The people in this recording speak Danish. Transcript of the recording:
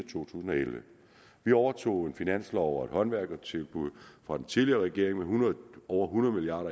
to tusind og elleve vi overtog en finanslov og et håndværkertilbud fra den tidligere regering med over hundrede milliard